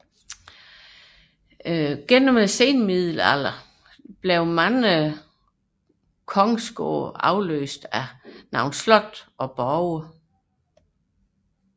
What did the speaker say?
Gennem senmiddelalderen afløstes mange kongsgårde af slotte og borge